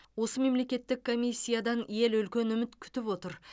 осы мемлекеттік комиссиядан ел үлкен үміт күтіп отыр